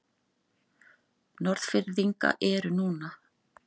Norðfirðinga eru núna.